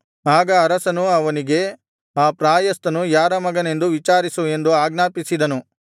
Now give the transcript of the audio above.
ಆಗ ಅರಸನು ಅವನಿಗೆ ಆ ಪ್ರಾಯಸ್ಥನು ಯಾರ ಮಗನೆಂದು ವಿಚಾರಿಸು ಎಂದು ಆಜ್ಞಾಪಿಸಿದನು